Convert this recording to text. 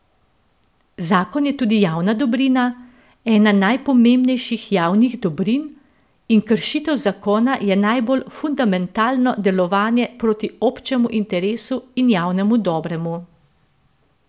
Zakon je tudi javna dobrina, ena najpomembnejših javnih dobrin, in kršitev zakona je najbolj fundamentalno delovanje proti občemu interesu in javnemu dobremu.